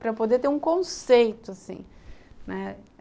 Para poder ter um conceito, assim, né.